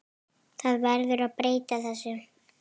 Það verður að breyta þessu.